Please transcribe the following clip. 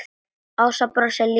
Ása brosir líka.